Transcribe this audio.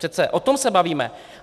Přece o tom se bavíme!